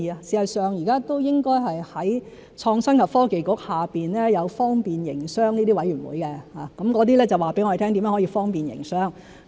事實上，現時都應該是在創新及科技局下有方便營商諮詢委員會，告訴我們怎樣去方便營商。